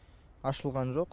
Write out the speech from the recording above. ашылған жоқ